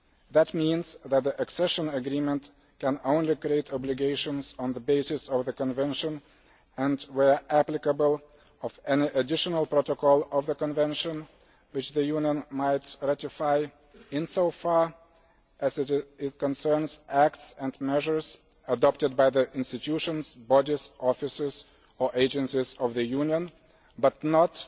That means that the accession agreement can only create obligations on the basis of the convention and, where applicable, of any additional protocol of the convention which the Union might ratify insofar as it concerns acts and measures adopted by the institutions, bodies, officers or agencies of the Union, but not